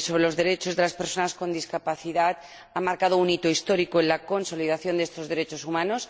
sobre los Derechos de las Personas con Discapacidad ha marcado un hito histórico en la consolidación de estos derechos humanos.